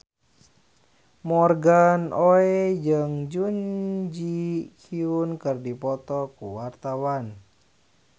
Morgan Oey jeung Jun Ji Hyun keur dipoto ku wartawan